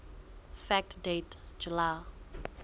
fact date july